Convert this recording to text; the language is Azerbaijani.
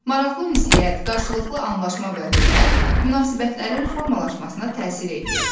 Maraqlı ünsiyyət, qarşılıqlı anlaşma və hörmət münasibətlərin formalaşmasına təsir eləyir.